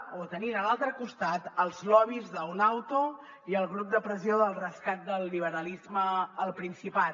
o tenint a l’altre costat els lobbys d’unauto i el grup de pressió del rescat del liberalisme al principat